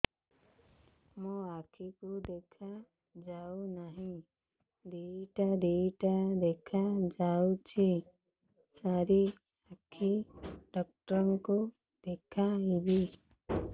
ମୋ ଆଖିକୁ ଦେଖା ଯାଉ ନାହିଁ ଦିଇଟା ଦିଇଟା ଦେଖା ଯାଉଛି ସାର୍ ଆଖି ଡକ୍ଟର କୁ ଦେଖାଇବି